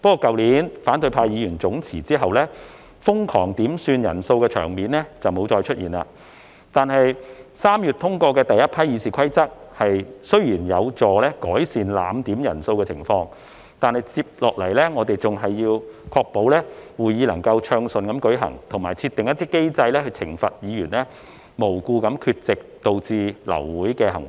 去年反對派議員總辭後，瘋狂點算人數的場面沒有再出現，而3月通過的第—批《議事規則》修訂雖有助改善濫點人數的情況，但接下來我們仍要確保會議能夠暢順進行，以及設定一些機制來懲罰議員無故缺席而導致流會的行為。